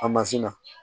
A mansin na